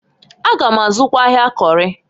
A gam azụkwa ahịa Kori.